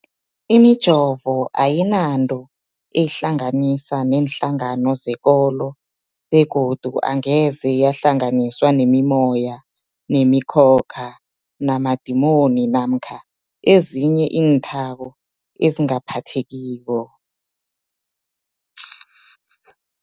Imijovo ayinanto eyihlanganisa neenhlangano zekolo begodu angeze yahlanganiswa nemimoya, nemi khokha, namadimoni namkha ezinye iinthako ezingaphathekiko.